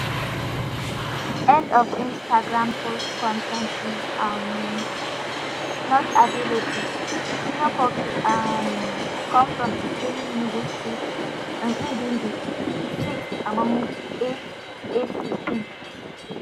end of instagram post con ten t is um not available junior pope um come from ukehe enugu state and im be di sixth among eight eight pikin